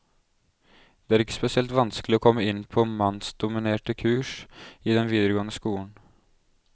Det er ikke spesielt vanskelig å komme inn på mannsdominerte kurs i den videregående skolen.